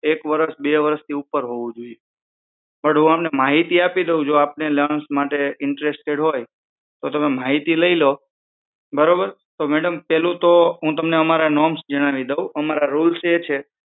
એક વરશ બે વરસ થી ઉપર હોવું જોઈએ પણ હું તમને માહિતી આપી દઉં જો આપને અલ્લાઉઅન્સ માટે ઇન્ટરેસ્ટ માટે ઈન્ટરેસ્ટેડ હોય તો બરોબર પેલું તો હું તમને અમારા નોર્મ્સ જણાવી દઉં અમારા રૂલ્સ એ છે કે